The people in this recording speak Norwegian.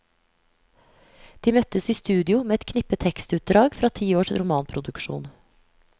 De møttes i studio med et knippe tekstutdrag fra ti års romanproduksjon.